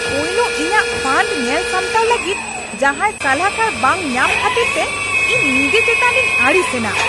ᱯᱳᱭᱞᱳ ᱤᱧᱟᱹᱜ ᱯᱷᱚᱸᱰ ᱧᱮᱞ ᱥᱟᱢᱴᱟᱣ ᱞᱟᱹᱜᱤᱫ ᱡᱟᱦᱟᱸᱭ ᱥᱟᱞᱦᱟᱠᱟᱨ ᱵᱟᱝ ᱧᱟᱢ ᱠᱷᱟᱹᱛᱤᱨ ᱛᱮ ᱤᱧ ᱱᱤᱡᱮ ᱪᱮᱛᱟᱱ ᱨᱤᱧ ᱟᱹᱲᱤᱥ ᱮᱱᱟ ᱾